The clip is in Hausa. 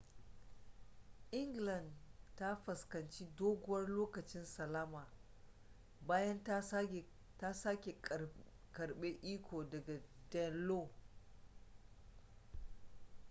england ta fuskanci doguwar lokacin salama bayan ta sake karbe iko daga danelaw